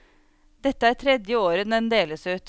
Dette er tredje året den deles ut.